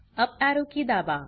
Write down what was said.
up arrow की दाबा